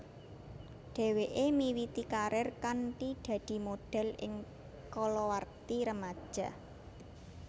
Dhèwèké miwiti karir kanthi dadi modhèl ing kalawarti remaja